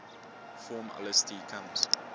form lsd comes